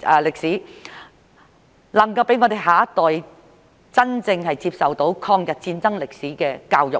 歷史，能夠讓我們下一代真正接受抗日戰爭歷史的教育。